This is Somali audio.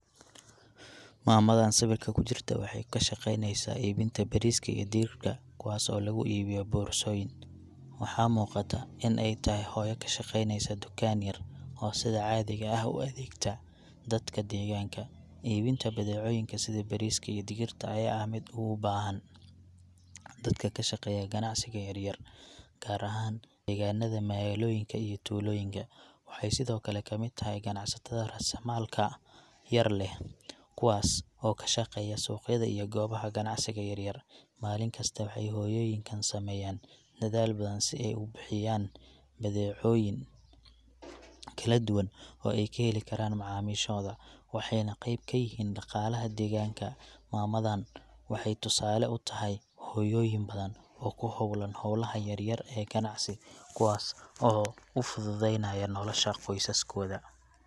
Maamadaan sawirka ku jirta waxay ku shaqeyneysaa iibinta bariiska iyo digirta, kuwaas oo lagu iibiyo boorsooyin. Waxaa muuqata in ay tahay hooyo ka shaqeyneysa tukaan yar, oo sida caadiga ah u adeegta dadka deegaanka. Iibinta badeecooyinka sida bariiska iyo digirta ayaa ah mid aad ugu baahan dadka ka shaqeeya ganacsiga yaryar, gaar ahaan deegaanada magaalooyinka iyo tuulooyinka. Waxay sidoo kale ka mid tahay ganacsatada raasamaalka yar leh, kuwaas oo ka shaqeeya suuqyada iyo goobaha ganacsiga yaryar. Maalin kasta waxay hooyooyinkan sameeyaan dadaal badan si ay u bixiyaan badeecooyin kala duwan oo ay ka heli karaan macaamiishooda, waxayna qayb ka yihiin dhaqaalaha deegaanka. Mamadaan waxay tusaale u tahay hooyooyin badan oo ku hawlan hawlaha yaryar ee ganacsi, kuwaas oo u fududeynaya nolosha qoysaskooda.